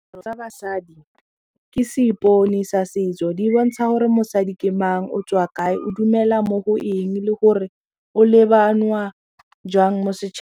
tsa basadi ke seipone sa setso di bontsha gore mosadi ke mang o tswa kae o dumela mo go eng le gore o lebangwa jwang mo setšhabeng.